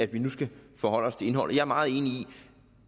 vi nu skal forholde os til indholdet jeg er meget enig i